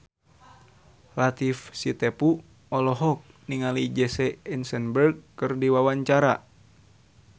Latief Sitepu olohok ningali Jesse Eisenberg keur diwawancara